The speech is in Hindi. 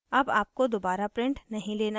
अब आपको दोबारा print नहीं लेना है